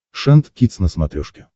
шант кидс на смотрешке